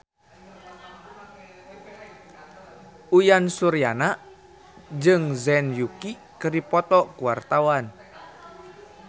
Uyan Suryana jeung Zhang Yuqi keur dipoto ku wartawan